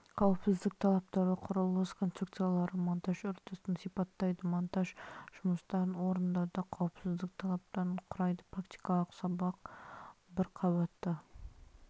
қауіпсіздік талаптары құрылыс конструкциялары монтажы үрдісін сипаттайды монтаж жұмыстарын орындауда қауіпсіздік талаптарын құрайды практикалық сабақ бір қабатты